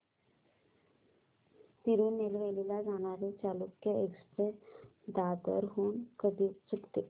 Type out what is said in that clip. तिरूनेलवेली ला जाणारी चालुक्य एक्सप्रेस दादर हून कधी सुटते